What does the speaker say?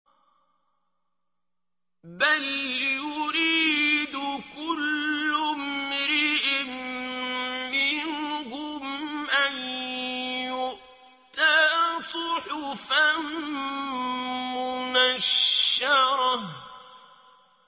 بَلْ يُرِيدُ كُلُّ امْرِئٍ مِّنْهُمْ أَن يُؤْتَىٰ صُحُفًا مُّنَشَّرَةً